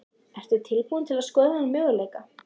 Ertu tilbúin að skoða þann möguleika?